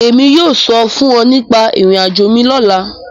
Èmi yóò sọ̀ fun ọ̀ nípa irò-àjò mi lọla.